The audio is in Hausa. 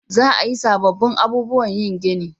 Za a yi sabobbin abubuwan yin gini